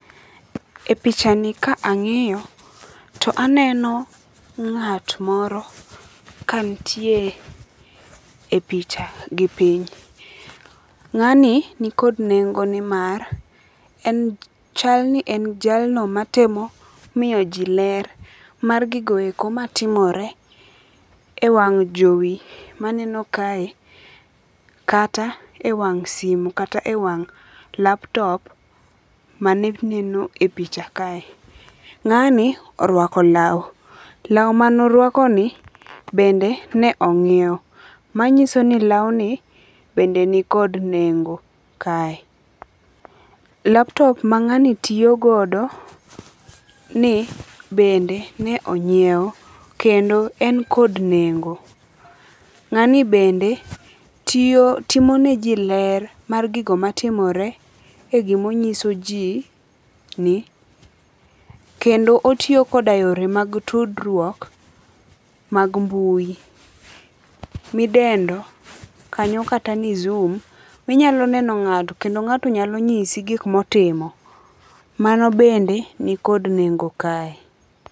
E picha ni ka ang'iyo to aneno ng'at moro ka nitie e picha gipiny. Ng'ani nikod nengo ni mar chal ni en jalno matemo miyo ji ler mar gigo eko matimore e wang' jowi maneno kae kata e wang' simo kata e wang' laptop mane neno e picha kae. Ng'ani orwako law. Law manorwakoni bende ne ong'iew. Manyiso ni lawni bende ni kod nengo kae. Laptop mang'ani tiyogodo ni bende ne onyiew kendo en kod nengo. Ng'ani bende tiyiyo timoneji ler mar gigo matimore e gimonyiso ji ni kendo otiyo koda yore mag tudruok mag mbui midendo kanyo kata ni Zoom. Minyalo neno ng'ato kendo ng'ato nyalo nyisi gik motimo. Mano bende ni kod nengo kae.